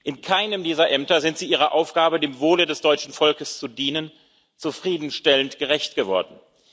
In keinem dieser Ämter sind Sie Ihrer Aufgabe, dem Wohle des deutschen Volkes zu dienen, zufriedenstellend gerecht geworden.